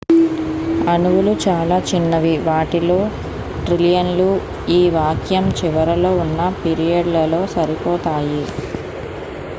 అణువులు చాలా చిన్నవి వాటిలో ట్రిలియన్లు ఈ వాక్యం చివరిలో ఉన్న పీరియడ్లలో సరిపోతాయి